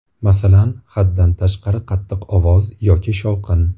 Masalan, haddan tashqari qattiq ovoz yoki shovqin.